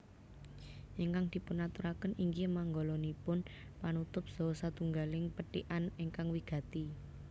Ingkang dipunaturaken inggih manggalanipun panutup saha satunggaling pethikan ingkang wigati